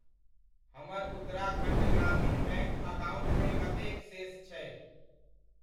हमर उत्तराखण्ड ग्रामीण बैङ्क अकाउण्टमे कतेक शेष छै?